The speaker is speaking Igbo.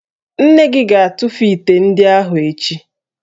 Nne gị ga-atụfu ite ndị ahụ echi